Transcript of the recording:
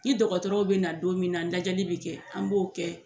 Ni dɔgɔtɔrɔw bɛ na don min na lajɛli bɛ kɛ an b'o kɛ